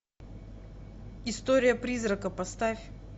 история призрака поставь